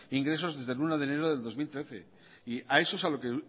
ingresos desde el uno de enero de dos mil trece y a eso es a lo que